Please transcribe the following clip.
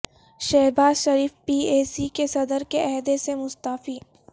Shahbaz Sharif P A C کے صدر کے عہدے سے مستعفی